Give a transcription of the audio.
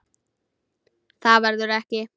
Það verður ekki.